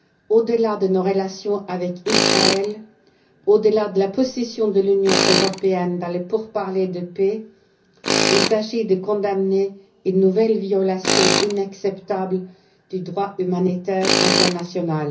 Au delà de nos relations avec Israël, au delà de la position de l'Union européenne dans les pourparlers de paix, il s'agit de condamner une nouvelle violation inacceptable du droit humanitaire international.